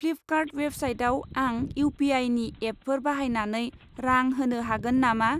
Flipkart वेबसाइटाव आं इउ.पि.आइ.नि एपफोर बाहायनानै रां होनो हागोन नामा?